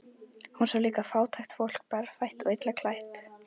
Hún sá líka fátækt fólk, berfætt og illa klætt.